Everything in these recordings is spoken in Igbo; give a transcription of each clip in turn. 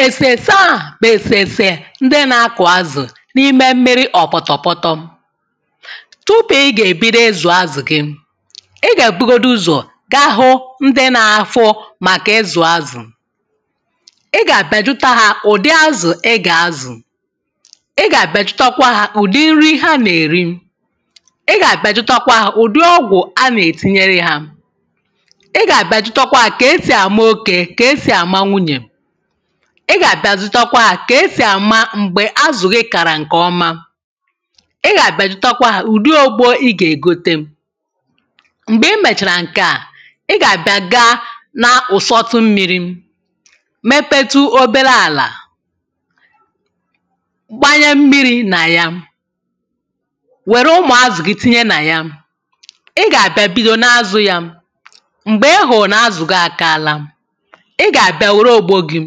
èsèrèse a bụ̀ èsèrèsè ndị na-akụ̀ azụ̀ n’ime mmịrị ọ̀pọ̀tọ̀pọtọ tupu ị́ gà-èbido ịzụ̀ azụ̀ gị ị gà-èbugodu ụzọ̀ ga hụ ndị na-ahụ màkà ịzụ̀ azụ̀ ị gà-abịa jụta ha ụ̀dị azụ̀ ị gà-azụ̀ ị gà-abịa jụta kwa ha ụ̀dị nri ha nà-èri ị gà-abịa jụta kwa ha ụ̀dị ọgwụ̀ a na-ètinyere ha ị gà-abịa jụta kwa ha ka-esì ama oke ka esì àma nwunyè ị gà-abịa jụta kwa ha ka-esì àma m̀gbè azụ̀ gị kàrà ǹkè ọma ị gà-abịa jụta kwa ha ụ̀dị ogbo ị ga-ègote m̀gbè ị mèchàrà ǹke a ị gà-àbịa gaá na ụ̀sọtụ mmịrị mepetụ ọbere àlà gbanye mmiri nà ya wère ụmụ̀ azụ̀ gị tinye nà ya ị gà-àbịa bido na-azụ ya m̀gbè ị hụ̀rụ̀ nà azụ̀ gị àkaala ị gà-àbịa wère ògbo gị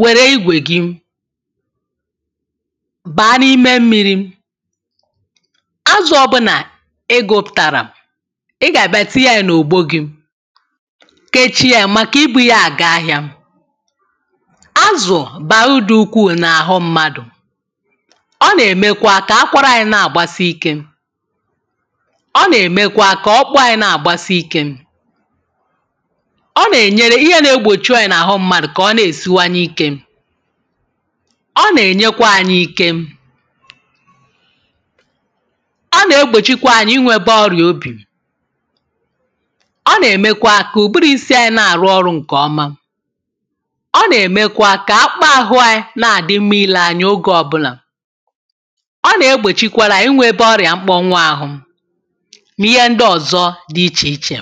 wère igwè gị baa n’ime mmịrị azụ ọ̀bụlà ị gụpụ̀tàrà ị gà-àbịa tinye ya n’ògbo gị kechie ya maka ibu ya àga ahịa azụ̀ bàrà urù dị ukwuù n’àhụ mmadụ̀ ọ nà-ème kwa ka akwara ànyị na-àgbasi ike ọ nà-ème kwa ka ọkpụkpụ ànyị na-àgbasi ike ọ nà-ènyere ihe na-egbòchi ọrià nà-àhụ mmadụ̀ kà ọ na-èsiwanye ike ọ nà-ènye kwa ànyị ike ọ nà-egbòchi kwa anyị ịnweta ọrịà obì ọ nà-ème kwa ka ụ̀bụrụ̀ isi ànyị na àrụ ọrụ̀ ǹkè ọma ọ nà-ème kwa ka akpụkpọ ahụ anyị na àdị mma ile anya oge ọbụlà ọ nà-egbòchi kwara anyị ịnweta ọrịà mkponwụ ahụ nà ihe ndị ọ̀zọ dị íche ichè